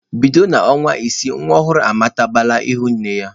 Bido n'ọnwa isii nwa ọhụrụ amatabala ihu nne ya.